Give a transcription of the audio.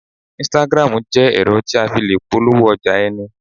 Instagram jẹ́ ẹ̀rọ tí a fi le polówó ọjà ẹni